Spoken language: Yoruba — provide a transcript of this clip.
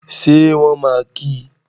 Ṣé wọ́n máa kí í?